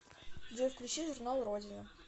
джой включи журнал родина